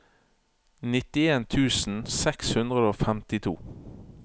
nittien tusen seks hundre og femtito